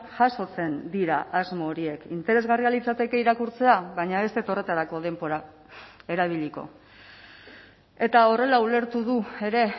jasotzen dira asmo horiek interesgarria litzateke irakurtzea baina ez dut horretarako denbora erabiliko eta horrela ulertu du ere